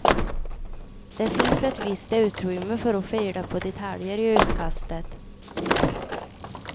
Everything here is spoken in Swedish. Det finns ett visst utrymme för att fila på detaljer i utkastet.